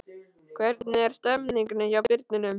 Hvernig er stemningin hjá Birninum?